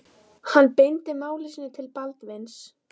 Hann beindi máli sínu til Baldvins.